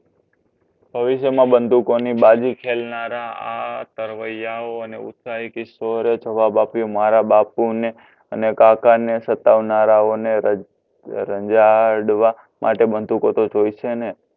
ભવિષ્યમાં બંદૂકોની બાઝી ખેલનારા આ તરવયાઓ અને ઉંચાઈ કિશોરે જવાબ આપ્યો મારા બાપુને અને કાકા ને સતાવનારાઓને રંજાડવા માટે બંદૂકો તો જોઈશે ને